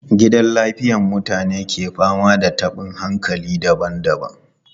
Gidan lafiyar mutanen ke fama da tabin hankali daban-daban.